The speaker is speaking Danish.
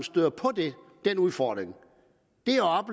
støder på den udfordring